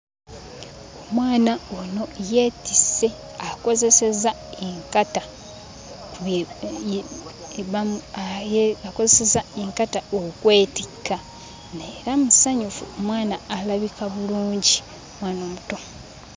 Omwana ono yeetisse akozesezza enkata, bye bamu akozesezza enkata okwetikka naye era musanyufu. Mwana alabika bulungi, mwana omuto.